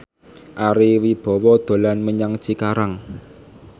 Ari Wibowo dolan menyang Cikarang